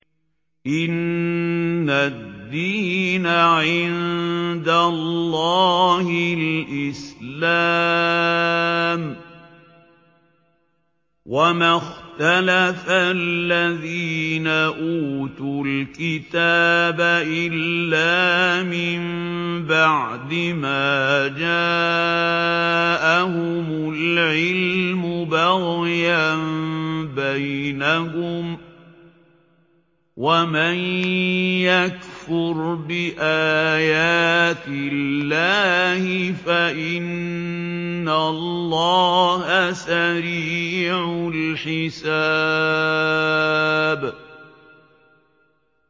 إِنَّ الدِّينَ عِندَ اللَّهِ الْإِسْلَامُ ۗ وَمَا اخْتَلَفَ الَّذِينَ أُوتُوا الْكِتَابَ إِلَّا مِن بَعْدِ مَا جَاءَهُمُ الْعِلْمُ بَغْيًا بَيْنَهُمْ ۗ وَمَن يَكْفُرْ بِآيَاتِ اللَّهِ فَإِنَّ اللَّهَ سَرِيعُ الْحِسَابِ